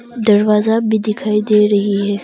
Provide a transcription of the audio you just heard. दरवाजा भी दिखाई दे रही है।